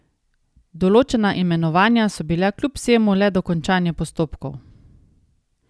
Določena imenovanja so bila kljub vsemu le dokončanje postopkov.